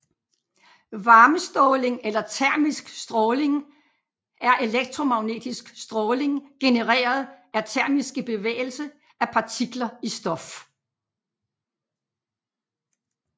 Varmeståling eller termisk stråling er elektromagnetisk stråling genereret af termiske bevægelse af partikler i stof